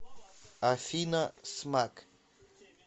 афина смак